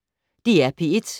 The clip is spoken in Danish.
DR P1